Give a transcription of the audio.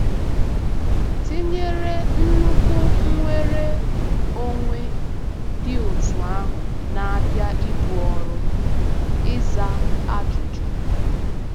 Tinyere nnukwu nnwere onwe dị otú ahụ na-abịa ibu ọrụ, ịza ajụjụ.